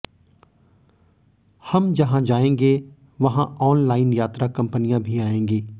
हम जहां जाएंगे वहां ऑनलाइन यात्रा कंपनियां भी आएंगी